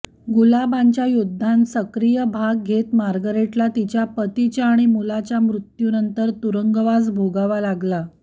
गुलाबांच्या युद्धांत सक्रिय भाग घेत मार्गरेटला तिच्या पतीच्या आणि मुलाच्या मृत्यू नंतर तुरुंगवास भोगावा लागला